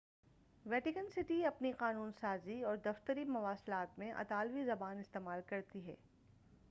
Vatican City اپنی قانون سازی اور دفتری مواصلات میں اطالوی زبان استعمال کرتی ہے